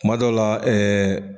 Kuma dɔw la ɛɛ